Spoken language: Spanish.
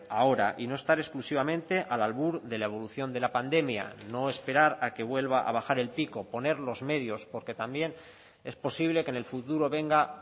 ahora y no estar exclusivamente al albur de la evolución de la pandemia no esperar a que vuelva a bajar el pico poner los medios porque también es posible que en el futuro venga